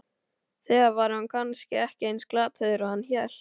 Eða var hann kannski ekki eins glataður og hann hélt?